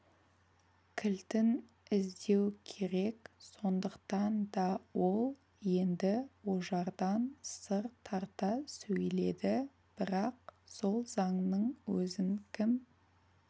кілтін іздеу керек сондықтан да ол енді ожардан сыр тарта сөйледі бірақ сол заңның өзін кім